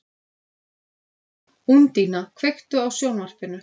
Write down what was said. Úndína, kveiktu á sjónvarpinu.